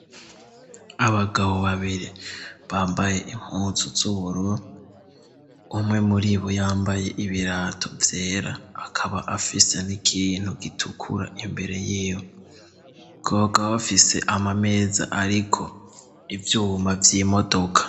Abagabo babiri bambaye impuzu z'ubururu umwe muri bo yambaye ibirato vyera akaba afise n'ikintu gitukura imbere yiwe bakaba bafise ama meza ariko ivyuma y'imodoka.